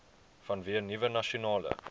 vanweë nuwe nasionale